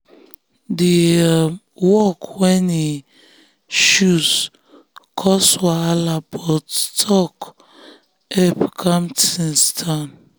the um work wey e um choose cause wahala but talk help calm things down.